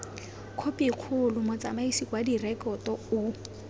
khopikgolo motsamaisi wa direkoto o